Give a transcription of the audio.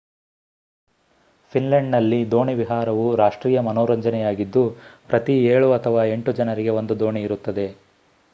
ಫಿನ್ಲೆಂಡ್‌ನಲ್ಲಿ ದೋಣಿ ವಿಹಾರವು ರಾಷ್ಟ್ರೀಯ ಮನೋರಂಜನೆಯಾಗಿದ್ದು ಪ್ರತಿ ಏಳು ಅಥವಾ ಎಂಟು ಜನರಿಗೆ ಒಂದು ದೋಣಿ ಇರುತ್ತದೆ